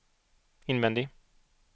invändig